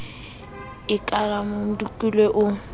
e ka la mmamodukule o